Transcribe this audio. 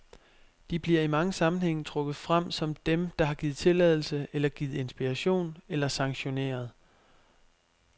De bliver i mange sammenhænge trukket frem som dem, der har givet tilladelse, eller givet inspiration, eller sanktioneret.